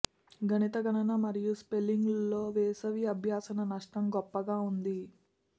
గణిత గణన మరియు స్పెల్లింగ్లో వేసవి అభ్యాసన నష్టం గొప్పగా ఉంది